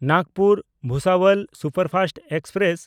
ᱱᱟᱜᱽᱯᱩᱨ–ᱵᱷᱩᱥᱟᱵᱚᱞ superfast express